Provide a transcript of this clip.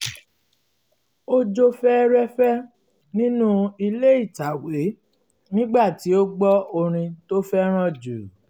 ó jó fẹ́rẹ́fẹ́ nínú ilé ìtàwé nígbà tí ó gbọ́ orin tó fẹ́ràn jù